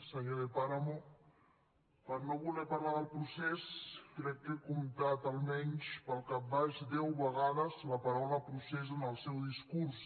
senyor de páramo per no volen parlar del procés crec que he comptat almenys pel cap baix deu vegades la paraula procés en el seu discurs